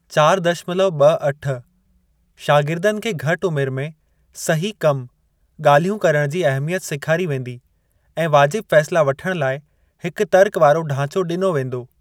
चार दशमलव ॿ अठ शागिर्दनि खे घटि उमिरि में 'सही कम / गाल्हियूं करण' जी अहमियत सेखारी वेंदी ऐं वाजिब फ़ैसला वठण लाइ हिकु तर्क वारो ढांचो डिनो वेंदो।